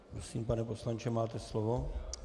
Prosím, pane poslanče, máte slovo.